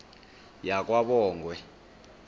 yakwabongwe